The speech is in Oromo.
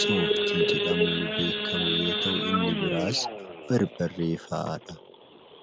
sooftii jedhamuun beekamu yoo ta'u, inni biraas barbarree fa'aadha.